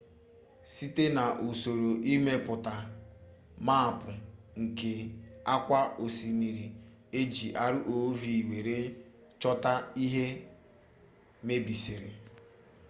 site na'usoro imepụta maapụ nke akwa osimiri eji rov were chota ihe mebisiri